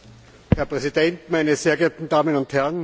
Herr Präsident, meine sehr geehrten Damen und Herren!